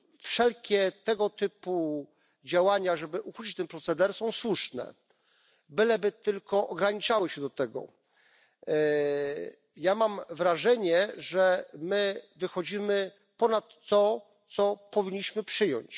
Wszelkie tego typu działania, żeby ukrócić ten proceder, są słuszne, byleby tylko ograniczały się do tego. Ja mam wrażenie, że my wychodzimy ponad to, co powinniśmy przyjąć.